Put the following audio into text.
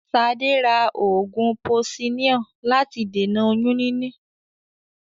Ṣadé ra oògùn posiníọ̀ láti dènà oyún níní.